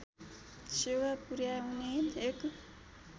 सेवा पुर्‍याउने एक